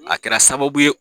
A kɛra sababu ye